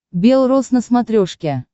бел роз на смотрешке